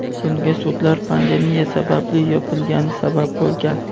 Bunga sudlar pandemiya sababli yopilgani sabab bo‘lgan.